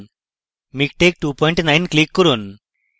miktex29 click করুন